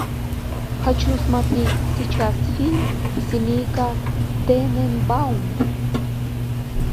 хочу смотреть сейчас фильм семейка тененбаум